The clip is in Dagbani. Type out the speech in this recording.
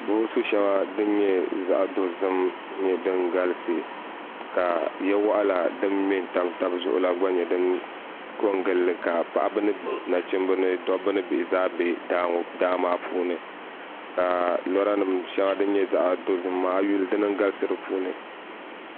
Boosu shaŋa. din nyɛ zaɣidɔzim n nyɛ din galisi. ka ya waɣila din nyɛ din mɛ n tam tab zuɣula. nyɛ din kon gili, ka paɣaba ni nachimba ni daba ni bihi zaa be daa maa puuni ka lɔranim shaŋa din nyɛ zaɣi dozim maa ayi yuli dini nyɛ din galisi di puuni